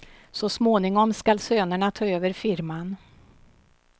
Så småningom skall sönerna ta över firman.